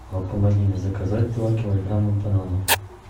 помоги мне заказать два килограмма бананов